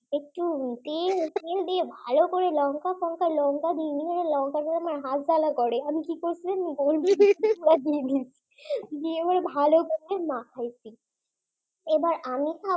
একটু তেল তেল দিয়ে ভালো করে লঙ্কা টংকা লঙ্কা দিলে আমার হাত জ্বালা করে আমি কি করছি জানেন? গোলমরিচ দিয়ে দিয়েছি। দিয়ে আবার ভালো করে মাখিয়েছি এবার আমি ভাবছি